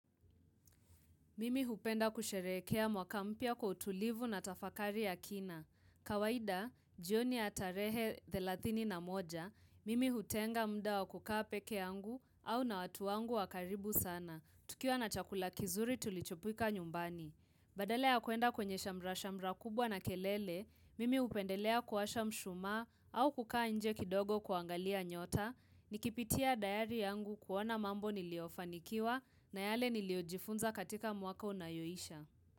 Mimi hupenda kusherekea mwaka mpya kwa utulivu na tafakari ya kina. Kawaida, jioni atarehe 31 na moja, mimi hutenga mda wa kukaa peke angu au na watuangu wakaribu sana. Tukiwa na chakula kizuri tulichopika nyumbani. Badalea kuenda kwenye shamrashamra kubwa na kelele, mimi hupendelea kuwasha mshumaa au kukaa nje kidogo kuangalia nyota. Nikipitia dayari yangu kuona mambo niliofanikiwa na yale niliojifunza katika mwaka unayoisha.